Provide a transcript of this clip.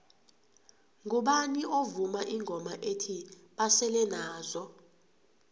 ngubani ovuma ingoma ethi basele nazo